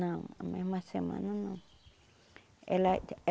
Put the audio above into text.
Não, a mesma semana não ela.